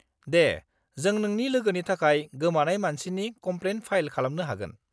दे, जों नोंनि लोगोनि थाखाय गोमानाय मानसिनि कमप्लेन फाइल खालामनो हागोन।